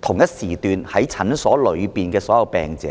同時段在診所內的所有病者？